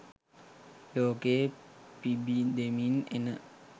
ලෝකයේ පිබිදෙමින් එන